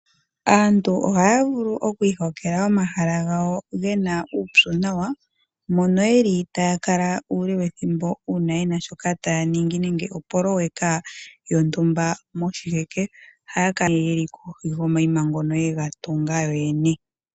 Aantu ohaya vulu oku ikongela omahala gawo gena uupyu nawa, mono yeli taya kala uule wethimbo, uuna yena shoka taya ningi nenge opololeka yontumba moshiheke. Ohaya kala kohi yomaima ngono ye ga tunga yoyene.